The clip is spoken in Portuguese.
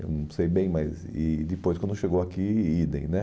Eu não sei bem, mas e depois quando chegou aqui, idem né.